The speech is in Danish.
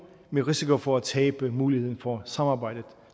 med risiko for at tabe muligheden for samarbejdet